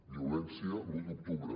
violència l’u d’octubre